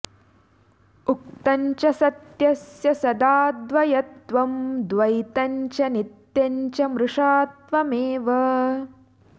उक्तं च सत्यस्य सदाद्वयत्वं द्वैतं च नित्यं च मृषात्वमेव